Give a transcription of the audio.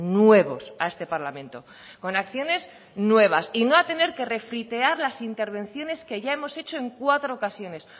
nuevos a este parlamento con acciones nuevas y no a tener que refritear las intervenciones que ya hemos hecho en cuatro ocasiones